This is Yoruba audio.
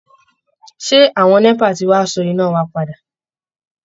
Ṣé àwọn NEPA ti wá so iná wa padà?